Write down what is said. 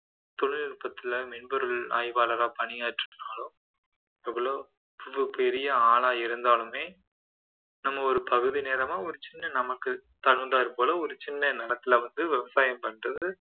தொழில்நுட்பத்துல மென்பொருள் ஆய்வாளரா பணியாற்றினாலும் எவ்வளவு பெரிய ஆளா இருந்தாலுமே நம்ம ஒரு பகுதி நேரமா ஒரு சின்ன நமக்கு தகுந்தார் போல ஒரு சின்ன நிலத்தில வந்து விவசாயம் பண்றது